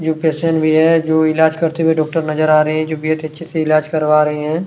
जो पेशंट भी है जो इलाज करते हुए डॉक्टर नज़र आ रहे हैं जो बेहद अच्छे से इलाज करवा रहे हैं।